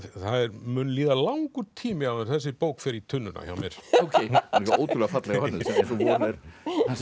mun líða langur tími áður en þessi bók fer í tunnuna hjá mér hún er ótrúlega fallega hönnuð sem